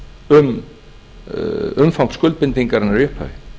um umfang skuldbindingarinnar í upphafi